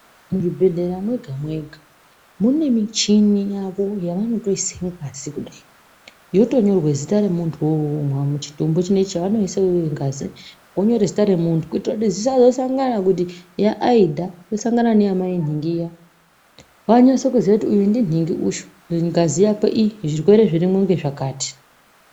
Muzvibhedhlera mega mega mune michini yavo yavanotoisire pasi kudai yotonyorwe zita remuntu wo uwowo muchitombo chavanoise ngazi vonyore zita remuntu kuitire kuti zvisazosanga kuti yaAidha yosangana neya mai nhingi iya vanyase kuziya kuti uyu ndinhingi uyu mungazi yako iyi zvirwere zvirimo zvakati